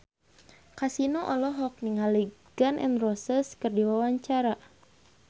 Kasino olohok ningali Gun N Roses keur diwawancara